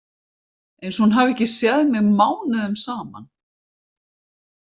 Einsog hún hafi ekki séð mig mánuðum saman.